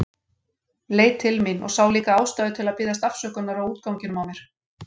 Leit til mín og sá líka ástæðu til að biðja afsökunar á útganginum á mér.